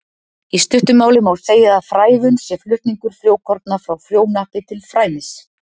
Í stuttu máli má segja að frævun sé flutningur frjókorna frá frjóhnappi til frænis.